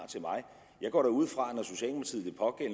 jeg går da ud fra